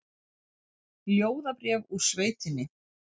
Ljóðabréf úr sveitinni